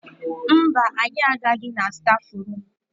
Mba, anyị agaghị na stafrum.